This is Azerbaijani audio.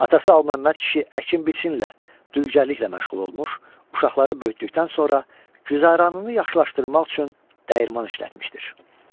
Atası Alı Məmməd kişi əkin biçinlə, dülgərliklə məşğul olmuş, uşaqları böyütdükdən sonra güzəranını yaxşılaşdırmaq üçün dəyirman işlətmişdir.